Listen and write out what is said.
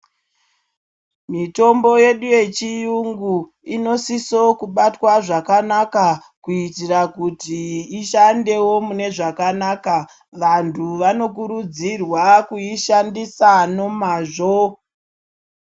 Mitombo yedu yechiungu, inosiso kubatwa zvakanaka kuitira kuti ishandewo munezvakanaka. Vantu vanokurudzirwa kuyishandisa nomazvo.